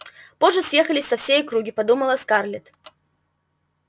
позже съехались со всей округи подумала скарлетт